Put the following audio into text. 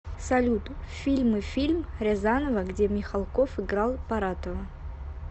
салют фильмы фильм рязанова где михалков играл паратова